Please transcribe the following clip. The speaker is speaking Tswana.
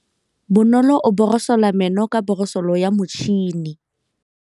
Bonolô o borosola meno ka borosolo ya motšhine.